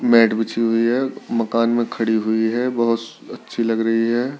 Mat बिछी हुई है मकान में खड़ी हुई है बहोत अच्छी लग रही है।